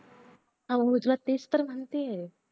हा तेच तर म्हणतिया